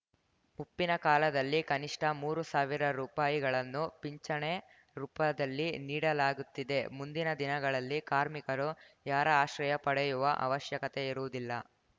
ಮುಪ್ಪಿನ ಕಾಲದಲ್ಲಿ ಕನಿಷ್ಠ ಮೂರು ಸಾವಿರ ರುಪಾಯಿಗಳನ್ನು ಪಿಂಚಣೆ ರೂಪದಲ್ಲಿ ನೀಡಲಾಗುತ್ತಿದೆ ಮುಂದಿನ ದಿನಗಳಲ್ಲಿ ಕಾರ್ಮಿಕರು ಯಾರ ಆಶ್ರಯ ಪಡೆಯುವ ಅವಶ್ಯಕತೆ ಇರುವುದಿಲ್ಲ